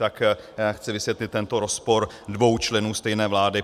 Tak chci vysvětlit tento rozpor dvou členů stejné vlády.